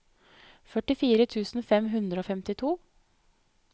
førtifire tusen fem hundre og femtito